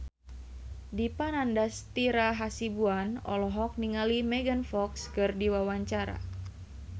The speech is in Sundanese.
Dipa Nandastyra Hasibuan olohok ningali Megan Fox keur diwawancara